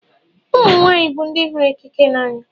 Ụmụnwany bụ ndị hụrụ ekikie n’anya